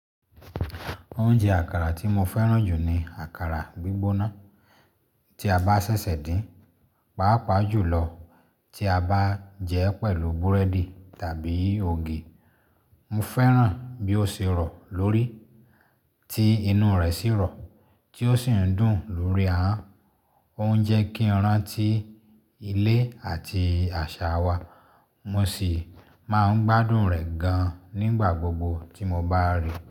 Oúnjẹ àkàrà tí mo fẹ́ràn jù ni àkàrà gbígbóná, tí a bá ṣẹ̀ṣẹ̀ din, pàápàá jùlọ tí a bá jẹ́ ẹ pẹ̀lú búrẹ́dì tàbí ògì. Mo fẹ́ràn bí ó ṣe rọ̀ lórí, tí inú rẹ̀ sì rọ̀, tí ó sì ń dùn lórí ahọ́n. Ó ń jẹ́ kí i rán tí ilé àti àṣà wa, mo sì máa ń gbádùn rẹ̀ gan-an nígbà gbogbo tí mo bá rí i.